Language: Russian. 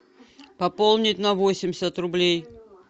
пополнить на восемьдесят рублей